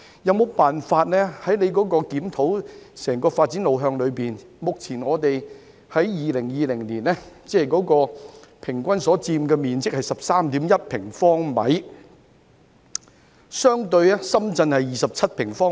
在局長檢討整個發展路向時，有否辦法......在2020年，人均居住面積為 13.1 平方米，相對來說深圳是27平方米。